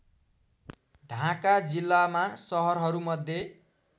ढाँका जिल्लामा सहरहरूमध्ये